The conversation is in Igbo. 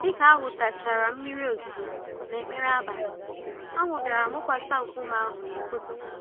Dịka ahụtachara mmiri ozuzo na ekpere nabalị, anwụ bịara mụkwasị nkume ahụ n'ụtụtụ